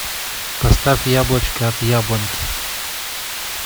поставь яблочко от яблоньки